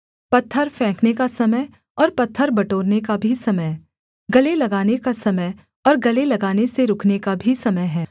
पत्थर फेंकने का समय और पत्थर बटोरने का भी समय गले लगाने का समय और गले लगाने से रुकने का भी समय है